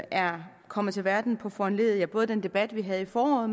er kommet til verden på foranledning af både den debat vi havde i foråret